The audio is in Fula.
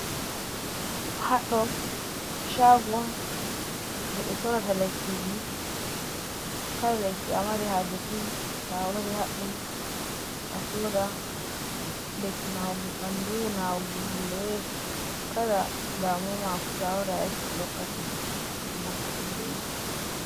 Haddo shago je be sora ta lakkiji, kala lakki’amari haje fu tawari haddo asoda lekki nawugo bandu nawugo bandu hore kala damuwamafu to awari ayeccii behokkate lekki anaftira be man.